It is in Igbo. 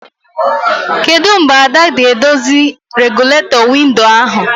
Kedụ mgbe Ada ga-edozi regụlatọ windo ahụ?